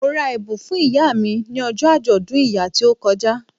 Mo ra ẹ̀bùn fún ìyá mi ni ọjọ́ àjọ̀dún ìyá tó kọjá